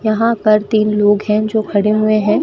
यहां पर तीन लोग हैं जो खड़े हुए हैं।